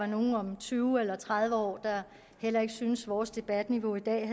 nogle om tyve eller tredive år der heller ikke synes at vores debatniveau i dag er